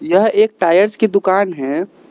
यह एक टायर्स की दुकान है।